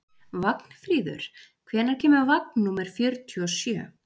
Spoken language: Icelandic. Vagnfríður, hvenær kemur vagn númer fjörutíu og sjö?